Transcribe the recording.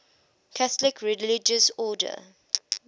catholic religious order